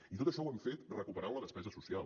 i tot això ho hem fet recuperant la despesa social